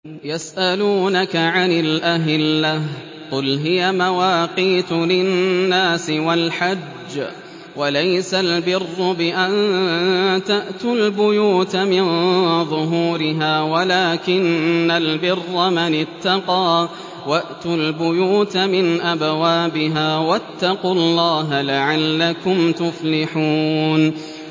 ۞ يَسْأَلُونَكَ عَنِ الْأَهِلَّةِ ۖ قُلْ هِيَ مَوَاقِيتُ لِلنَّاسِ وَالْحَجِّ ۗ وَلَيْسَ الْبِرُّ بِأَن تَأْتُوا الْبُيُوتَ مِن ظُهُورِهَا وَلَٰكِنَّ الْبِرَّ مَنِ اتَّقَىٰ ۗ وَأْتُوا الْبُيُوتَ مِنْ أَبْوَابِهَا ۚ وَاتَّقُوا اللَّهَ لَعَلَّكُمْ تُفْلِحُونَ